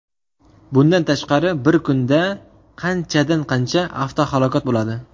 Bundan tashqari, bir kunda qanchadan qancha avtohalokat bo‘ladi.